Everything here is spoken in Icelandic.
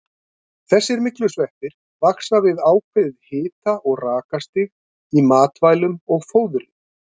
Þessir myglusveppir vaxa við ákveðið hita- og rakastig í matvælum og fóðri.